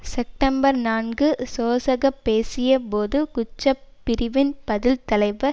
September நான்கு சோசக பேசிய போது குற்ற பிரிவின் பதில் தலைவர்